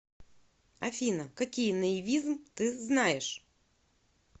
афина какие наивизм ты знаешь